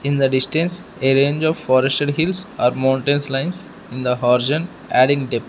in the distance a range of forested hills or mountains lines in the horizon adding depth.